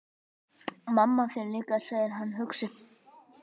Mamma þín líka, segir hann hugsi.